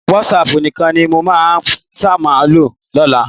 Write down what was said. Wásáaàpù nìkan ni mo máa ṣàmúlò lọ́la